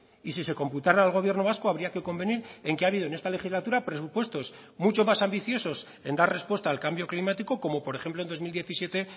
y si se computará al gobierno vasco habría que convenir en que ha habido en esta legislatura presupuestos mucho más ambiciosos en dar respuesta al cambio climático como por ejemplo en dos mil diecisiete